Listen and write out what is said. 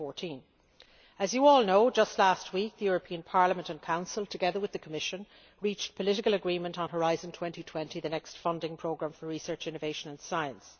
of 2014. As you all know, just last week the European Parliament and Council, together with the Commission, reached political agreement on Horizon 2020 the next funding programme for research, innovation and science.